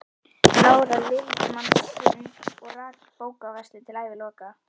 Lára lifði mann sinn og rak bókaverslun til æviloka.